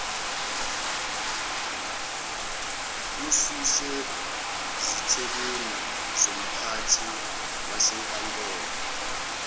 ususezithebeni zomphathi wasenkantolo